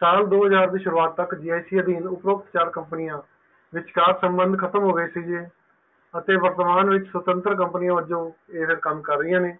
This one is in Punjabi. ਸਾਲ ਦੋ ਹਜਾਰ ਸੁਰੂਆਤ ਤੱਕ GIC ਅਧੀਨ ਸੰਬੰਧ ਖਤਮ ਹੋ ਗਏ ਸੀ ਅਤੇ ਵਰਤਮਾਨ ਵਿੱਚ ਸੁਤੰਤਰ companies ਵਜੋਂ ਇਹ ਕਮ ਕਰ ਰਹੀਏ ਹਨ